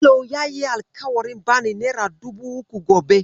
Bello yayi alƙawarin bani nera dubu uku gobe.